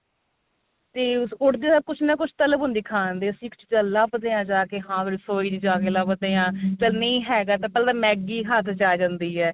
ah ਉੱਠਦੇ ਸਾਰ ਕੁੱਝ ਨਾ ਕੱਝ ਤਲਬ ਹੁੰਦੀ ਖਾਣ ਦੀ ਲੱਭਦੇ ਆ ਜਾ ਕੇ ਹਾਂ ਵੀ ਰਸੋਈ ਚ ਜਾ ਕੇ ਲੱਭਦੇ ਆ ਚੱਲ ਨਹੀਂ ਹੈਗਾ ਤਾਂ ਪਹਿਲਾਂ Maggie ਹੱਥ ਚ ਆ ਜਾਂਦੀ ਏ